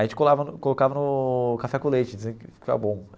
A gente colava colocava no café com leite, diziam que fica bom.